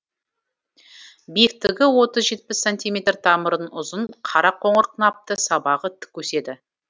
биіктігі отыз жетпіс сантиметр тамырын ұзын қара қоңыр қынапты сабағы тік өседі